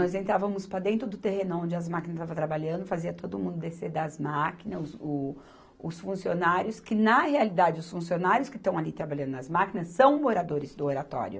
Nós entrávamos para dentro do terreno onde as máquinas estavam trabalhando, fazia todo mundo descer das máquinas, os, o, os funcionários, que na realidade os funcionários que estão ali trabalhando nas máquinas são moradores do Oratório.